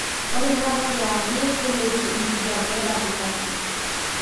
ore tata kewarie kelotu enkijape ekatikati.